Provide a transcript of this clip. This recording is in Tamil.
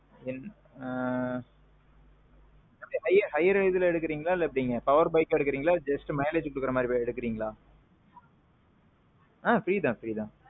என். ஆ. higher இதுல எடுக்குறீங்களா இல்ல எப்பிடிங்க? power bikeஅ எடுக்குறீங்களா, just mileage குடுக்குற மாறி எடுக்குறீங்களா? ஆ. free தான் free தான்.